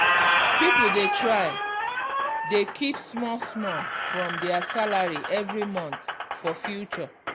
people dey try dey keep small small from their salary every month for future.